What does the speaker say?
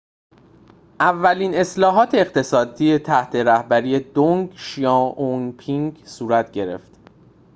اولین اصلاحات اقتصادی تحت رهبری دنگ شیائوپینگ صورت گرفت